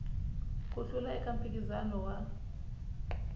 ku hlula eka mphikizano wa